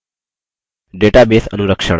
database अनुरक्षण